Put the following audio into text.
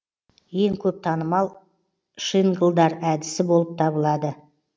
ең көп танымал шинглдар әдісі болып табылады